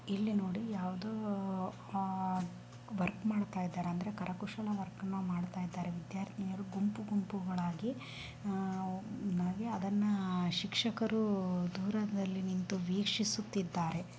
ಇಲ್ಲಿ ನೋಡಿ ಯಾವುದೋ ಅಹ್ ವರ್ಕ್ ಮಾಡ್ತಾ ಇದ್ದಾರೆ ಕರಕುಶಲ ಮಾಡ್ತಾ ಇದ್ದಾರೆ ವಿದ್ಯಾರ್ಥಿನಿಯರು ಗುಂಪು ಗುಂಪುಗಳಾಗಿ ಅಹ್ ಅದರನ್ನು ಶಿಕ್ಷಕರು ದೂರದಲ್ಲಿ ನಿಂತು ವೀಕ್ಷಿಸುತ್ತಿದ್ದಾರೆ.